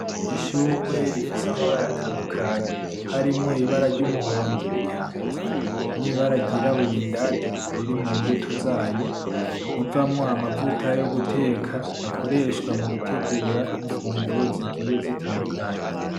Ishugwe rifise amabara atandukanye, harimwo ibara ry'umuhondo riri hanze nibara ry'irabura indani riri mu mbuto zayo, ivamwo amavuta yo guteka. Akoreshwa mu gutegura imfuguro zigiye zitandukanye.